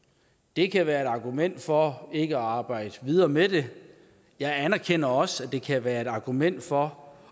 det kan være et argument for ikke at arbejde videre med det jeg anerkender også at det kan være et argument for